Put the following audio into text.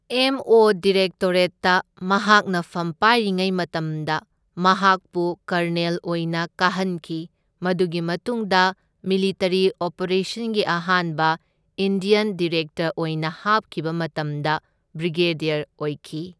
M O ꯗꯤꯔꯦꯛꯇꯣꯔꯦꯠꯇ ꯃꯍꯥꯛꯅ ꯐꯝ ꯄꯥꯏꯔꯤꯉꯩ ꯃꯇꯝꯗ ꯃꯍꯥꯛꯄꯨ ꯀꯔꯅꯦꯜ ꯑꯣꯏꯅ ꯀꯥꯍꯟꯈꯤ, ꯃꯗꯨꯒꯤ ꯃꯇꯨꯡꯗ ꯃꯤꯂꯤꯇꯔꯤ ꯑꯣꯄꯔꯦꯁꯟꯒꯤ ꯑꯍꯥꯟꯕ ꯏꯟꯗ꯭ꯌꯟ ꯗꯤꯔꯦꯛꯇꯔ ꯑꯣꯏꯅ ꯍꯥꯞꯈꯤꯕ ꯃꯇꯝꯗ ꯕ꯭ꯔꯤꯒꯦꯗ꯭ꯌꯔ ꯑꯣꯏꯈꯤ꯫